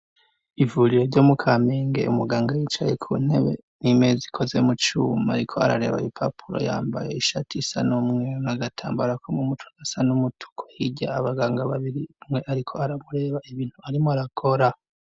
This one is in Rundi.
Ivuriro ryo mu kaminge umuganga yicaye ku ntebe n'imezi ikozemu cuma ariko arareba ipapuro yambaye ishati isa numweru nagatambara ko me mucugasa n'umutuku higya abaganga babiri mwe ariko aramureba ibintu arimo arakora.